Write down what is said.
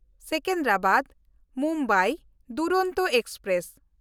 ᱥᱮᱠᱮᱱᱫᱨᱟᱵᱟᱫ–ᱢᱩᱢᱵᱟᱭ Duronto express